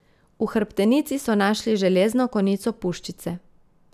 V hrbtenici so našli železno konico puščice.